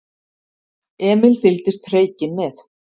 Emil fylgdist hreykinn með.